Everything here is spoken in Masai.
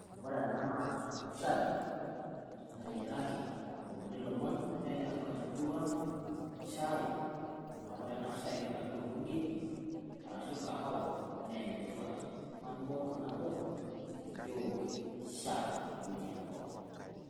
wore ena naa shai nateyiaraki itomoni lomon naa ene tipat temurua ang' shai naa wore ena shai nebaiki naa olmugie enaa kahawa naa enetipat tepokin ng'ae amu kewoki shai towuejiting' pokin.